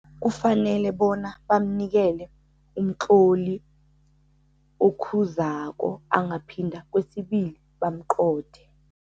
Kufanele bona bamnikele umtloli okhuzako. Angaphinda kwesibili, bamqothe.